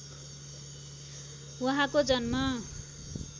उहाँको जन्म